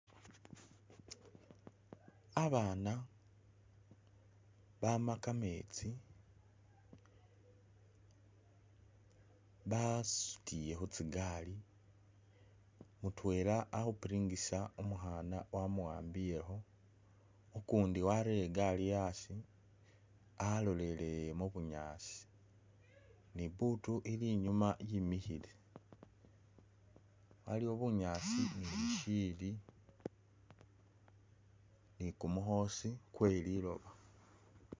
Abaana baama kameetsi basutile khu tsigaali , mutwela ali khupiringisa umukhana wamuwambilekho, ukundi warere igaali asi alolele mu bunyaasi ne ibutu ili inyuma yimikhile, waliyo bunyaasi ni shiyili ni kumukhoosi kwe liloba.